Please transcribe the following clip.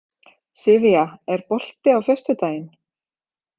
Sivía, er bolti á föstudaginn?